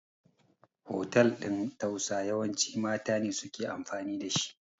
hotel ɗin tausa yawanci mata ne suke amfani da shi